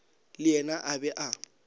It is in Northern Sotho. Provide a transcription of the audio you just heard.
le yena a be a